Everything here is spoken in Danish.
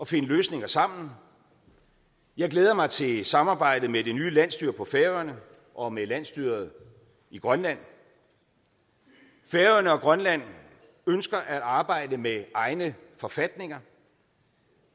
finde løsninger sammen jeg glæder mig til samarbejdet med det nye landsstyre på færøerne og med landsstyret i grønland færøerne og grønland ønsker at arbejde med egne forfatninger